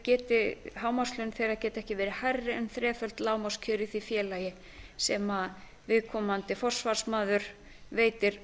að hámarkslaun þeirra geti ekki verið hærri en þreföld lágmarkskjör í því félagi sem viðkomandi forsvarsmaður veitir